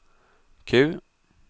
Q